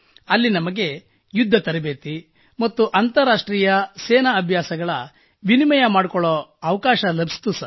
ಅಲ್ಲಿ ನಮಗೆ ಯುದ್ಧ ತರಬೇತಿ ಮತ್ತು ಅಂತಾರಾಷ್ಟ್ರೀಯ ಸೇನಾ ಅಭ್ಯಾಸಗಳ ವಿನಿಮಯ ಮಾಡಿಕೊಳ್ಳುವ ಅವಕಾಶ ಲಭಿಸಿತು